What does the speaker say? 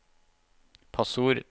passord